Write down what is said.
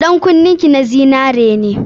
Ɗan kunnen ki na zinare.